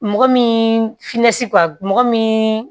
Mɔgɔ min finɛsi mɔgɔ min